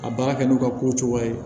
A baara kɛ n'u ka kow cogoya ye